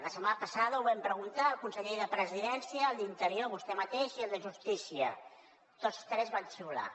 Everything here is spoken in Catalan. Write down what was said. la setmana passada ho vam preguntar al conseller de la presidència al d’interior vostè mateix i al de justícia tots tres van xiular